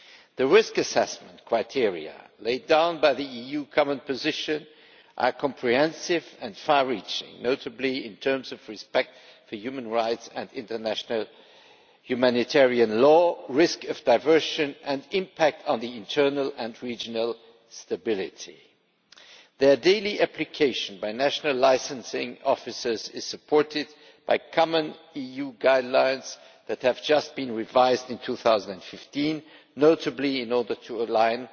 The risk assessment criteria laid down by the EU common position are comprehensive and far reaching, notably in terms of respect for human rights and international humanitarian law, risk of diversion and impact on internal and regional stability. The daily application by national licensing officers is supported by common EU guidelines that have just been revised in 2015, notably in order to align